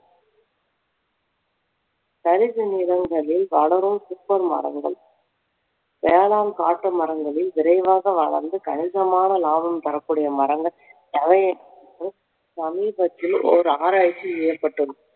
தரிசு நிலங்களில் வளரும் மரங்கள் வேளாண் காட்டு மரங்களில் விரைவாக வளர்ந்து கணிசனமான லாபம் தரக்கூடிய மரங்கள் சமீபத்தில் ஒரு ஆராய்ச்சி ஏற்பட்டது